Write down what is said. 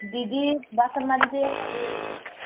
ଦିଦି ବାସନ ମାଜୁଛେ